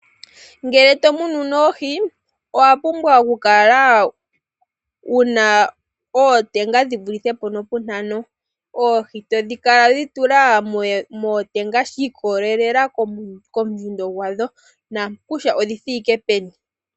Ngele to munu noohi owa pumbwa oku kala wuna oteenga dhi vulithe po nopu ntano oohi to kala wedhi tula mootenga shi ikolelela kondjundo yadho na kutya odhi thike peni.